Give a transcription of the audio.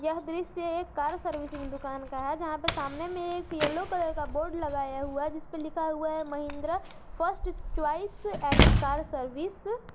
यह दृश्य car servicing दुकान का है जहां पे सामने में एक येलो कलर का बोर्ड लगाया हुआ जिस पे लिखा हुआ है Mahindra first choice any car service.